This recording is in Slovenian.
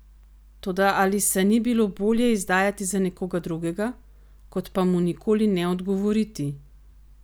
Toda ali se ni bilo bolje izdajati za nekoga drugega, kot pa mu nikoli ne odgovoriti?